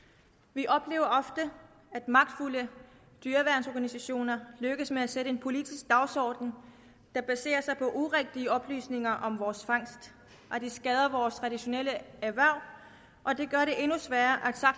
vi oplever ofte at magtfulde dyreværnsorganisationer lykkes med at sætte en politisk dagsorden der baserer sig på urigtige oplysninger om vores fangst og det skader vores traditionelle erhverv og det gør det endnu sværere